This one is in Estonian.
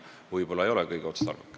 See süsteem võib-olla ei ole kõige otstarbekam.